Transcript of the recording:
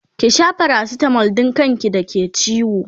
ki Sha paracetamol Dan kan ki da ke ciwo!